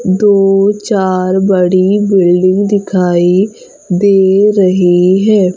दो चार बड़ी बिल्डिंग दिखाई दे रही है।